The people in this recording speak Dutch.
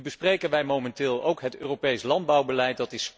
Nu bespreken wij momenteel ook het Europees landbouwbeleid.